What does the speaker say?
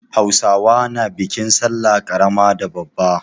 Hausawa na bikin sallah ƙarama da babba.